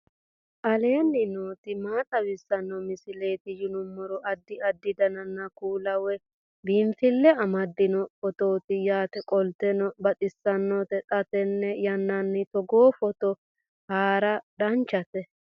aleenni nooti maa xawisanno misileeti yinummoro addi addi dananna kuula woy biinsille amaddino footooti yaate qoltenno baxissannote xa tenne yannanni togoo footo haara danvchate